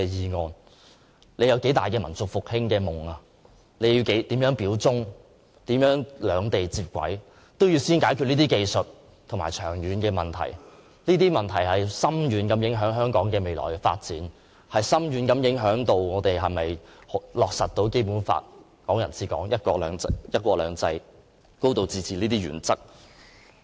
不論他有多大的民族復興的夢、要如何表忠，如何渴望兩地能接軌，都必先要解決這些長遠的技術問題，因為這些問題將對香港未來的發展有着深遠的影響，包括我們能否落實《基本法》、"港人治港"、"一國兩制"、"高度自治"這些原則。